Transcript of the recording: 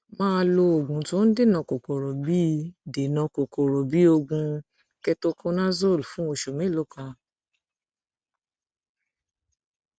máa lo oògùn tó ń dènà kòkòrò bí dènà kòkòrò bí oògùn ketoconazole fún ọsẹ mélòó kan